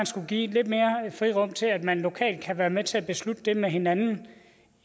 skulle give lidt mere frirum til at man lokalt kan være med til at beslutte det med hinanden